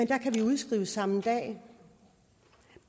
kan vi udskrives samme dag